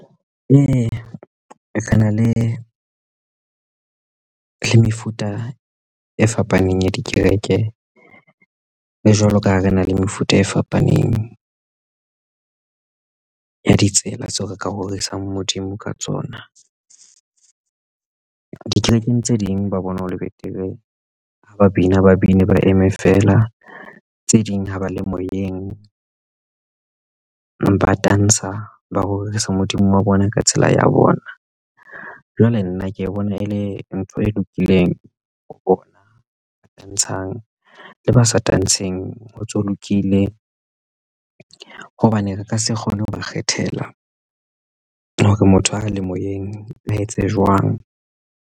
Ee, ke na le mefuta e fapaneng ya dikereke le jwalo ka ha re na le mefuta e fapaneng ya ditsela tseo re ka rorisa Modimo ka tsona dikerekeng tse ding ba bona ho le betere ha ba bina ba bine ba eme feela tse ding ho ba le moyeng ba tantsha ba rorisa Modimo wa bona ka tsela ya bona. Jwale nna ke bona e le ntho e lokileng ona tantshang le ba sa tantsheng ho ntso lokile hobane re ka se kgone ho ba kgethela hore motho ha a le moyeng a etse jwang.